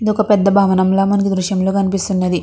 ఇది ఒక పెద్ద భవనము ల మనకి ఈ దృశ్యం లో కనిపిస్తున్నది.